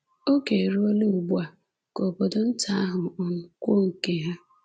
Oge eruola ugbu a ka obodo nta ahụ um kwuo nke ha.